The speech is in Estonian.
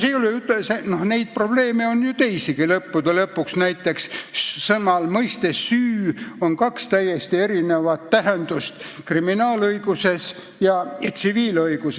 Ja neid probleeme on ju teisigi, näiteks võib tuua mõiste "süü", millel on kaks täiesti erinevat tähendust kriminaalõiguses ja tsiviilõiguses.